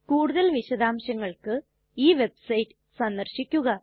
കൂടുതൽ വിശദാംശങ്ങൾക്ക് ഈ വെബ്സൈറ്റ് സന്ദര്ശിക്കുക